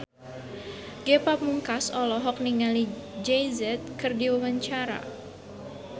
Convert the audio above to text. Ge Pamungkas olohok ningali Jay Z keur diwawancara